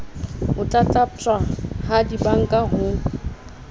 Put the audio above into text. ho tlatlaptjwa ha dibanka ho